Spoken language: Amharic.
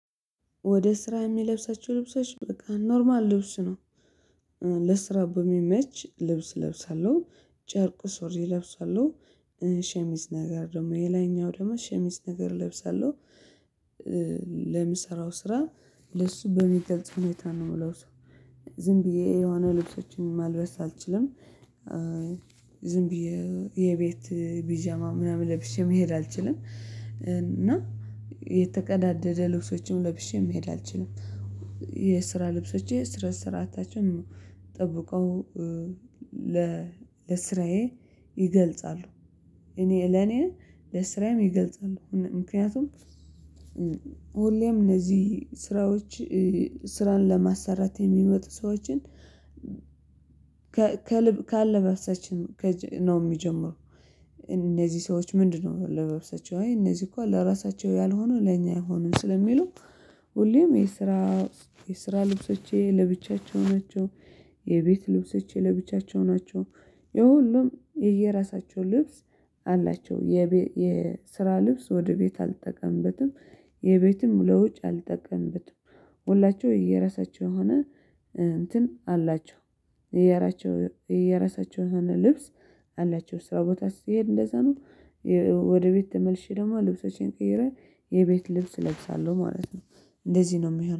ወደ ስራ የሚለብሳቸው ልብሶች በቃ ኖርማል ልብሱ ነው። ለስራ በሚመች ልብስ ለብሳለሁ ጨርቁ ሶሪ ለብሳለሁ ሸሚዝ ነገር ደግሞ የላይኛው ደግሞ ሸሚዝ ነገር ለብሰለው። ለምሰራው ስራ ለሱ በሚገልጽ ሁኔታ ነው ምለበው ዝም ብዬ የሆነ ልብሶችን ማልበስ አልችልም። ዝም ብዬ የቤት ቢጃማ ምናምን ለብሼ መሄድ አልችልም። እና የተቀዳደደ ልብሶችም ለብሼ መሄድ አልችልም። የስራ ልብሶቼ ስራ ስራ አታችን ጠብቀው ለስራዬ ይገልጻሉ። እኔ ለኔ ለስራዬም ይገልጻሉ ምክንያቱም ሁሌም እነዚህ ስራዎች ስራን ለማሰራት የሚመጡ ሰዎችን ከልብ ካለባብሳችን ነው የሚጀምረው። እነዚህ ሰዎች ምንድነው? አለበብሳቸው እነዚህ እኮ ለራሳቸው ያልሆኑ ለኛ አይሆኑም ስለሚሉ ሁሌም የስራ የስራ ልብሶቼ ለብቻቸው ናቸው። የቤት ልብሶቼ ለብቻቸው ናቸው። የሁሉም የየራሳቸው ልብስ አላቸው። የስራ ልብስ ወደ ቤት አልተጠቀምበትም። የቤትም ለውጭ አልጠቀምበትም። ሁላችሁ እየየራሳችሁ የሆነ እንትን አላቸው እያራቸው የየራሳቸው ልብስ አላቸው። ስራ ቦታ ስትሄድ እንደዛ ነው። ወደ ቤት ተመልሼ ደግሞ ልብሶቼን ቀይረህ የቤት ልብስ እለብሳለሁ ማለት ነው። እንደዚህ ነው የሚሆነው